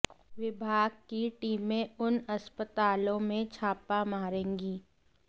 विभाग की टीमें उन अस्पतालों में छापा मारेंगी